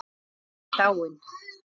Ingunn frænka mín er dáin.